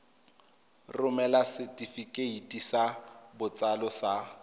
romela setefikeiti sa botsalo sa